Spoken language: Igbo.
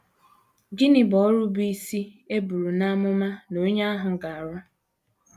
Gịnị bụ ọrụ bụ́ isi e buru n’amụma na onye ahụ ga - arụ?